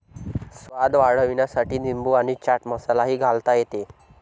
स्वाद वाढविण्यासाठी लिंबू आणि चाट मसाला ही घालता येते.